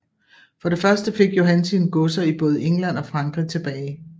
For det første fik Johan sine godser i både England og Frankrig tilbage